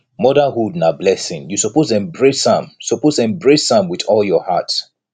motherhood na blessing you suppose embrace am suppose embrace am wit all your heart